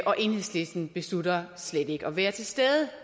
og enhedslisten beslutter slet ikke at være til stede